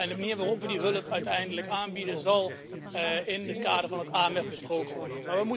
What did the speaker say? De manier waarop we die hulp uiteindelijk aanbieden, zal in het kader van het AMF besproken worden.